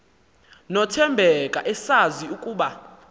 nothembeka esazi ukuba